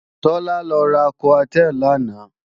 Tọ́lá lọ ra Coartem làná